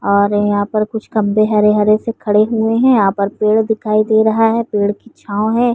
और यहाँ पर कुछ खम्भे हरे-हरे से खड़े हुए हैं। यहाँ पर पेड़ दिखाई दे रहा है। पेड़ की छांव है।